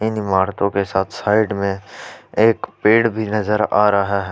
इन इमारतों के साथ साइड में एक पेड़ भी नजर आ रहा है।